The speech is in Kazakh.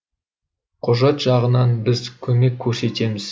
құжат жағынан біз көмек көрсетеміз